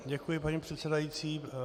Děkuji, paní předsedající.